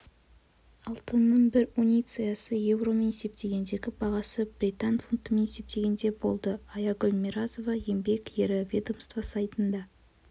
алтынның бір унциясының еуромен есептегендегі бағасы британ фунтымен есептегенде болды аягүл миразова еңбек ері ведомство сайтында